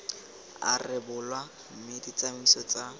a rebolwa mme ditsamaiso tsa